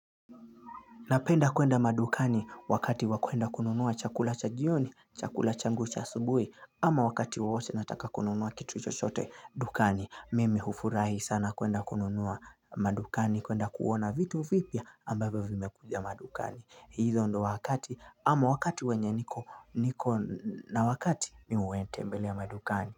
Napenda kuenda madukani wakati wa kwenda kununua chakula cha jioni, chakula changu cha asubuhi, ama wakati wawote nataka kununuua kitu chochote dukani. Mimi hufurahi sana kuenda kununua madukani kuenda kuona vitu vipya ambavyo vimekuja madukani. Hizo ndo wakati ama wakati wenye niko na wakati mi uwetembelea madukani.